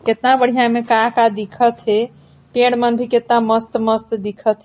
कितना बढ़ियाँ ऐमे का-का दिखत हे पेड़ मन भी कित्ता मस्त-मस्त दिखत हे।